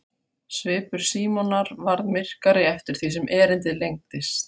Svipur Símonar varð myrkari eftir því sem erindið lengdist.